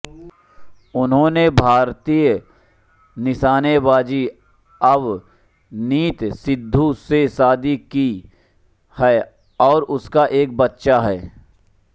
उन्होंने भारतीय निशानेबाज अवनीत सिद्धू से शादी की है और उनका एक बच्चा है